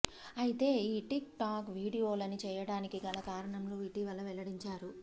అయితే ఈ TikTok video లని చేయడానికి గల కారణం ను ఇటీవల వెల్లడించారు